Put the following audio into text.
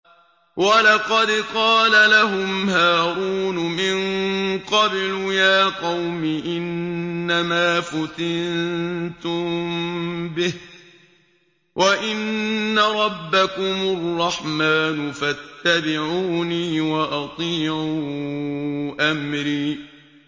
وَلَقَدْ قَالَ لَهُمْ هَارُونُ مِن قَبْلُ يَا قَوْمِ إِنَّمَا فُتِنتُم بِهِ ۖ وَإِنَّ رَبَّكُمُ الرَّحْمَٰنُ فَاتَّبِعُونِي وَأَطِيعُوا أَمْرِي